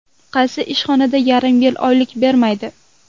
Qaysi ishxonada yarim yil oylik bermaydi?